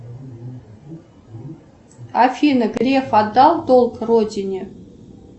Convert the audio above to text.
афина греф отдал долг родине